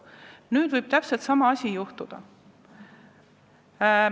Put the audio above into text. Nüüd võib täpselt sama asi juhtuda.